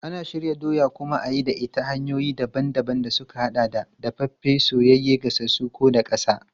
Ana shirya doya a kuma yi da ita ta hanyoyi daban-daban da suka haɗa da dafaffe, soyayye, gasassu ko daƙasa.